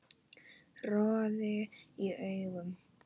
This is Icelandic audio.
Roði í augum